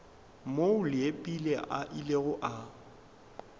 moo leepile a ilego a